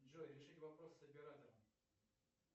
джой решить вопрос с оператором